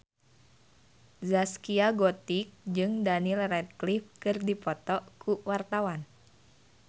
Zaskia Gotik jeung Daniel Radcliffe keur dipoto ku wartawan